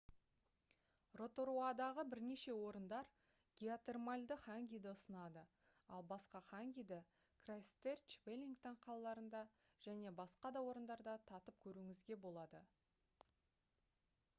роторуадағы бірнеше орындар геотермальды хангиді ұсынады ал басқа хангиді крайстчерч веллингтон қалаларында және басқа да орындарда татып көруіңізге болады